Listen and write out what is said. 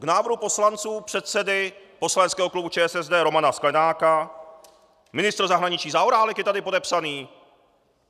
K návrhu poslanců předsedy poslaneckého klubu ČSSD Romana Sklenáka - ministr zahraničí Zaorálek je tady podepsaný!